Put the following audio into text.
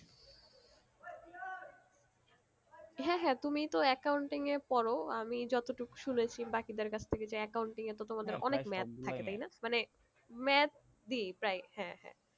হ্যাঁ হ্যাঁ তুমি তো accounting এ পড়ো আমি যতটুকু শুনেছি বাকিদের কাছ থেকে যে accounting এ তো তোমাদের অনেক math থাকে তাই না মানে math দি প্রায় হ্যাঁ হ্যাঁ